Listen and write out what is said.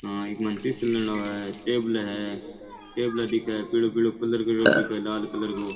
टेबले है टेबल दिखे है पीलो पीलो कलर को रॉड दिके है लाल कलर को।